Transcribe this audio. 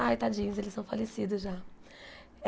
Ai, tadinhos, eles são falecidos já.